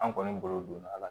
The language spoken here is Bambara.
An kɔni bolo donna a la